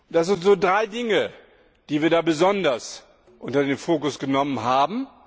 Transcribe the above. Da sind drei Dinge, die wir besonders unter den Fokus genommen haben.